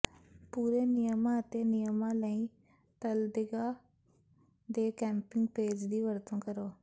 ਪੂਰੇ ਨਿਯਮਾਂ ਅਤੇ ਨਿਯਮਾਂ ਲਈ ਤਲਦੇਗਾ ਦੇ ਕੈਂਪਿੰਗ ਪੇਜ ਦੀ ਵਰਤੋਂ ਕਰੋ